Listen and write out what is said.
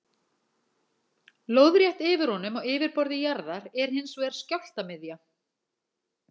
Lóðrétt yfir honum á yfirborði jarðar er hins vegar skjálftamiðja.